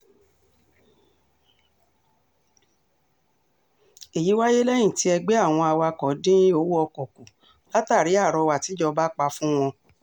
èyí wáyé lẹ́yìn tí ẹgbẹ́ àwọn awakọ̀ dín owó ọkọ̀ kù látàrí àrọwà tìjọba pa fún wọn